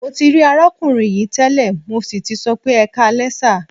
Mo ti rí arákùnrin yìí tẹ́lẹ̀, mo sì tì sọ pé "ẹkáalẹ́ sà".